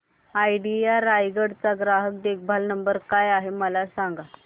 idea Raigad चा ग्राहक देखभाल नंबर काय आहे मला सांगाना